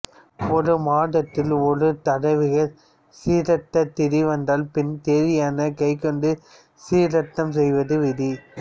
ஒரு மாதத்தில் இரு தடவைகள் சிராத்த திதி வந்தால் பின்னைய திதியினைக் கைக்கொண்டு சிராத்தம் செய்வது விதி